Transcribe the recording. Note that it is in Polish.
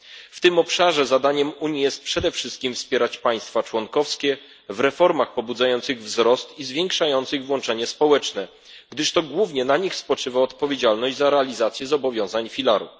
W tym obszarze zadaniem Unii jest przede wszystkim wspieranie państw członkowskich w reformach pobudzających wzrost i zwiększających włączenie społeczne, gdyż to głównie na nich spoczywa odpowiedzialność za realizację zobowiązań filaru.